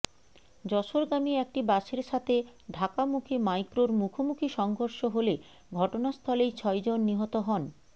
যশোরগামী একটি বাসের সাথে ঢাকামুখি মাইক্রোর মুখোমুখি সংঘর্ষ হলে ঘটনাস্থলেই ছয়জন নিহত হন